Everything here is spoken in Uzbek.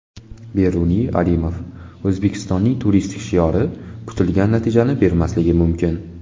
Beruniy Alimov: O‘zbekistonning turistik shiori kutilgan natijani bermasligi mumkin.